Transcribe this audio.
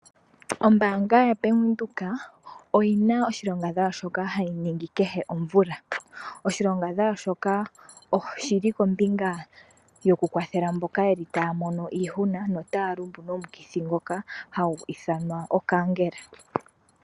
Ombaanga yaBank Windhoek oyina oshilongadhalwa shoka hayi ningi kehe omvula. Oshilongadhalwa shoka oshili kombinga yokukwathela mboka yeli taya mono iihuna notaya lumbu nomukithi ngoka hagu ithanwa okaankela.